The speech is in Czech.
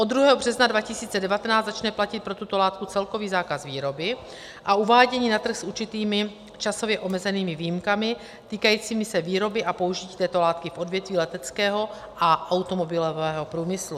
Od 2. března 2019 začne platit pro tuto látku celkový zákaz výroby a uvádění na trh s určitými časově omezenými výjimkami týkajícími se výroby a použití této látky v odvětví leteckého a automobilového průmyslu.